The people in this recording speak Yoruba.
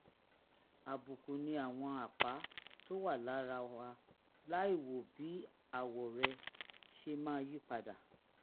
àbùkù ni àwọn àpá tó wà lára wa láìwo bí àwọ̀ rẹ̀ ṣe máa yí padà